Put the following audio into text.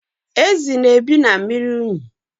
Ezi na-ebi na mmiri unyi.